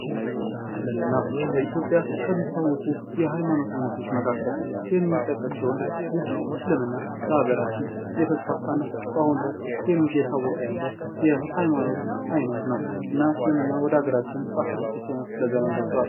እስልምና፦ በኢትዮጵያ ከሚታወቁ የሀይማኖት አይነቶች መካከል የሚጠቀስ ሲሆን ይህ እስልምና በሀገራችን እየተስፋፋ እና በአሁን ላይ እየታወቀ ያለ የሐይማኖት አይነት ነው። እና እስልምና ወደ አገራችን በአስራ ስድስተኛው ክፍለ ዘመን ገብቷል።